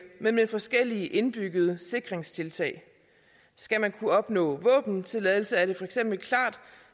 men med forskellige indbyggede sikringstiltag skal man kunne opnå våbentilladelse er det for eksempel klart